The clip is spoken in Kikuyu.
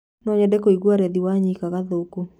Nonyende kũĩgũà lethĩ wanyĩka gathũkũ